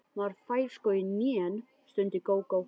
Maður fær sko í hnén, stundi Gógó.